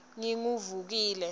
nginguvukile